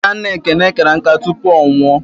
Nna nna Ekene kara nká tupu ọ nwụọ.